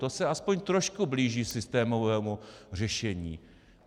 To se aspoň trošku blíží systémovému řešení.